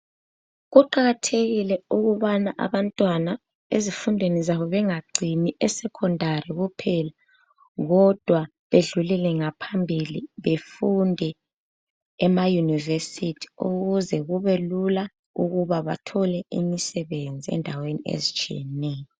Kuqakathekile ukubana abantwana ezifundweni zabo bengacini eSekhondari kuphela, kodwa bedlulele ngaphambili. Befunde emaYunivesi ukuze kubelula ukuba bathole imisebenzi endaweni ezitshiyeneyo.